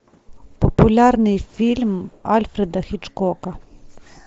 популярный фильм альфреда хичкока